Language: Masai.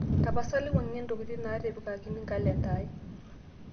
tapasali wuangie ntokitin naatipikakin kalenda aai